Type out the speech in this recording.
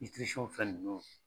fɛn nunnu .